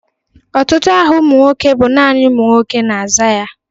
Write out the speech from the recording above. Ọtụtụ aha ụmụ nwoke bụ nani ụmụ nwoke na-aza ya.